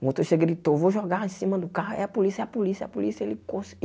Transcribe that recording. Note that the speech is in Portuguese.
O motorista gritou, vou jogar em cima do carro, é a polícia, é a polícia, é a polícia. Ele